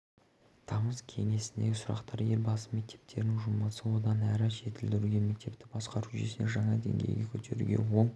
тамыз кеңесіндегі сұрақтар елбасы мектептерінің жұмысын одан әрі жетілдіруге мектепті басқару жүйесін жаңа деңгейге көтеруге оң